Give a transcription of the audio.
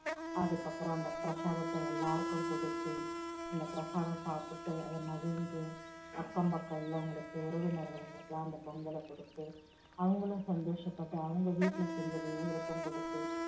அதுக்கப்புறம் அந்த பிரசாதத்தை எல்லாருக்கும் குடுத்து, அந்த பிரசாதம் சாப்டுட்டு மகிழ்ந்து, அக்கம் பக்கம் எல்லாம் உறவினர்களுக்கு எல்லாம் அந்தப் பொங்கலை கொடுத்து, அவங்களும் சந்தோஷப்பட்டு, அவங்க வீட்டுல இருக்கற உறவினர்களுக்கு குடுத்து